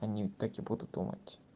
они так и будут думать